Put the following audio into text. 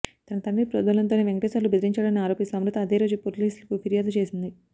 తన తండ్రి ప్రోద్బలంతోనే వెంకటేశ్వర్లు బెదిరించాడని ఆరోపిస్తూ అమృత అదే రోజు పోలీసులకు ఫిర్యాదు చేసింది